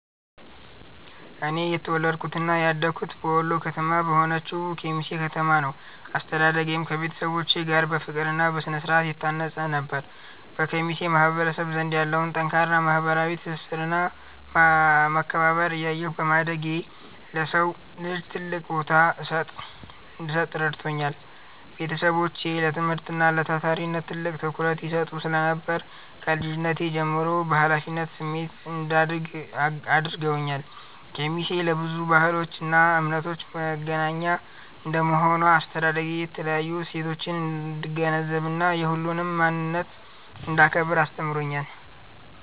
እኔ የተወለድኩትና ያደግኩት በወሎ ከተማ በሆነችው ኬሚሴ ከተማ ነው። አስተዳደጌም ከቤተሰቦቼ ጋር በፍቅርና በስነ-ስርዓት የታነጸ ነበር። በኬሚሴ ማህበረሰብ ዘንድ ያለውን ጠንካራ ማህበራዊ ትስስርና መከባበር እያየሁ በማደጌ፣ ለሰው ልጅ ትልቅ ቦታ እንድሰጥ ረድቶኛል። ቤተሰቦቼ ለትምህርትና ለታታሪነት ትልቅ ትኩረት ይሰጡ ስለነበር፣ ከልጅነቴ ጀምሮ በኃላፊነት ስሜት እንዳድግ አድርገውኛል። ኬሚሴ ለብዙ ባህሎችና እምነቶች መገናኛ እንደመሆኗ፣ አስተዳደጌ የተለያዩ እሴቶችን እንድገነዘብና የሁሉንም ማንነት እንዳከብር አስተምሮኛል።